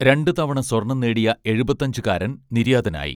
രണ്ടുതവണ സ്വർണ്ണം നേടിയ എഴുപത്തിയഞ്ചുകാരൻ നിര്യാതനായി